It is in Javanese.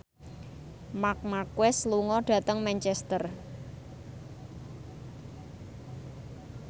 Marc Marquez lunga dhateng Manchester